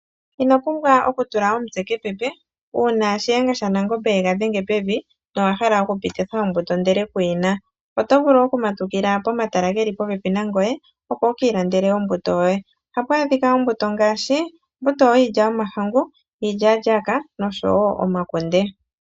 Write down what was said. Ino pumbwa oku tula omutse kepepe, uuna Shiyenga shaNangombe yega dhenge pevi, nowa hala okupititha ombuto ndele kuyi na. Oto vulu okumatukila pomatala geli popepi nangoye, opo wu ki ilandele ombuto yoye. Ohapu adhika ombutu ngaashi, ombuto yiilya yomahangu, yiilyaalyaaka nosho wo yomakunde.